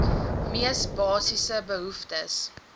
mees basiese behoeftes